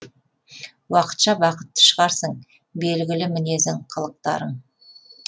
уақытша бақытты шығарсың белгілі мінезің қылықтарың